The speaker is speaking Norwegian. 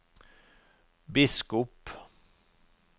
biskop